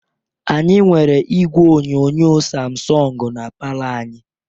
Anyị nwere igwe onyonyo samsọng na palor anyị.